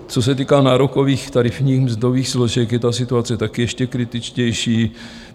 Co se týká nárokových tarifních mzdových složek, je ta situace také ještě kritičtější.